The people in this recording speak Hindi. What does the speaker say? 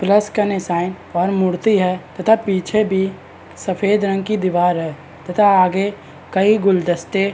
प्लश का निशान और मूर्ति है तथा पीछे भी सफेद रंग की दिवार है तथा आगे कई गुलदस्ते --